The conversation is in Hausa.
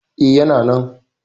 E, yana nan.